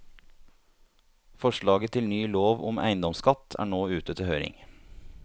Forslaget til ny lov om eiendomsskatt er nå ute til høring.